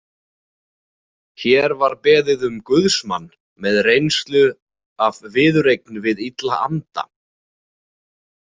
Hér var beðið um guðsmann með reynslu af viðureign við illa anda.